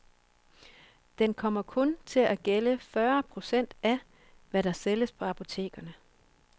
Den kommer kun til at gælde fyrre procent af, hvad der sælges på apotekerne.